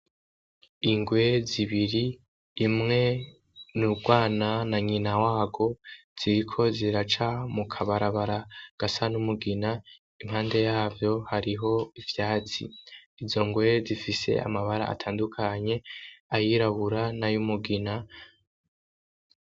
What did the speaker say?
Ingwe zibiri imwe n'urwana na nyina warwo ziriko ziraca mukabarabara gasa n'umugina impande yavyo hariho ivyatsi, izo ngwe zifise amabara atandukanye ayirabura n'ayumugina.